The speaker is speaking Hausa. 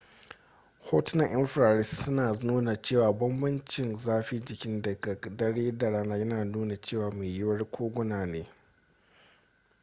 hotunan infrared suna nuna cewa bambancin zafin jiki daga dare da rana yana nuna cewa mai yiwuwa koguna ne